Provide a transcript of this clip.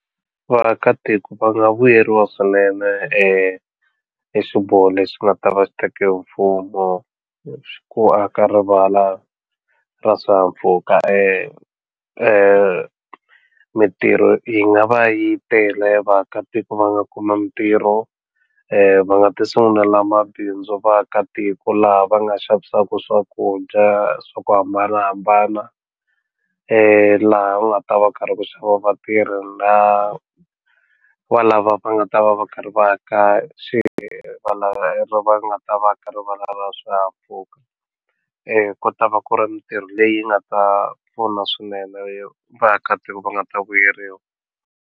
Ku vaakatiko va nga vuyeriwa swinene xiboho lexi nga ta va xi tekiwe hi mfumo ku aka rivala ra swihahampfhuka mintirho yi nga va yi tele vaakatiko va nga kuma mintirho va nga ti sungulela mabindzu vaakatiko laha va nga xavisaku swakudya swa ku hambanahambana laha u nga ta va ku ri karhi ku xava vatirhi na lava va lava va nga ta va va karhi va ka va lava nga ta va ka rivala ra swihahampfhuka ku ta va ku ri mintirho leyi nga ta pfuna swinene vaakatiko va nga ta vuyeriwa.